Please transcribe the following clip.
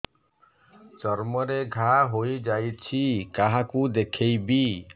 ଚର୍ମ ରେ ଘା ହୋଇଯାଇଛି କାହାକୁ ଦେଖେଇବି